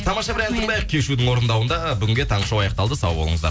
тамаша бір ән тыңдайық кешьюдің орындауында бүгінге таңғы шоу аяқталды сау болыңыздар